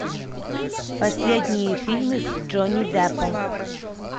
последние фильмы с джонни деппом